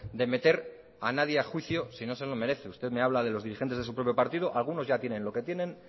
de meter a nadie a juicio si no se lo merece usted me habla de los dirigentes de su propio partido algunos ya tienen lo que tienen